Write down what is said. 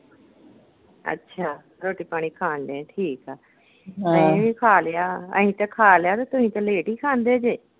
ਅੱਛਾ, ਰੋਟੀ ਪਾਣੀ ਖਾਣ ਢਏ ਠੀਕ ਆਂ ਅਹੀ ਵੀ ਖਾ ਲਿਆ। ਅਹੀ ਤੇ ਖਾ ਲਿਆ ਤੇ ਤੁਸੀਂ ਤੇ ਲੇਟ ਹੀ ਖਾਦੇ ਜੇ।